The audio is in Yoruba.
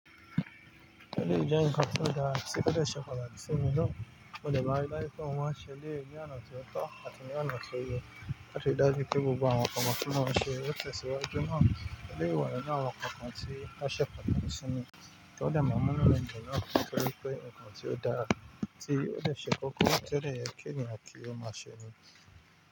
O se pataki si mi naa. Mo de maa n ri daju pe mo se eleyii ni ona to to ati ni ona to ye, lati ri daju pe awon nkan won, ti mo n se o te siwaju naa. Eleyii wa ninu awon nkankan ti o se pataki si mi, o de maa n mu inu mi dun naa, nitori pe ikan ti o dara ni, ti o de se koko, ti o de ye ki eniyan ko ma se ni.